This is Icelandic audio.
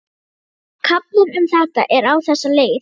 Kaflinn um þetta er á þessa leið